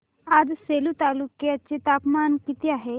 आज सेलू तालुक्या चे तापमान किती आहे